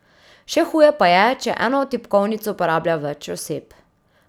Še huje pa je, če eno tipkovnico uporablja več oseb.